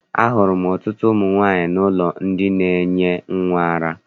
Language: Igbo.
Ahụrụ m ọtụtụ ụmụ nwaanyị n'ụlọ ndị na-enye nnwa ara.